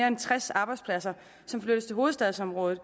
end tres arbejdspladser som flyttes til hovedstadsområdet